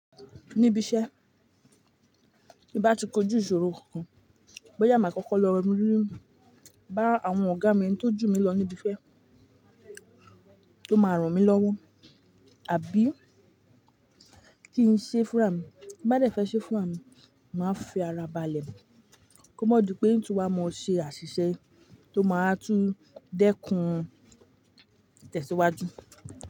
Níbi iṣẹ́, bí n bá ti kojú ìṣòro kan, bóyá màá kọ́kọ́ lọ rí bá àwọn ọ̀gá mi tó jù mí lọ níbi iṣẹ́ tó máa ràn mí lọ́wọ́, àbí kí ń ṣe fúnrà mí, ti mba dẹ̀ fẹ́ ṣe fúnrà mí, màá fi ara bàálẹ̀, kó má dipẹ́ n tu wàá mọ ṣe àṣìṣe tó máa tún dẹ́kun itẹ̀síwájú.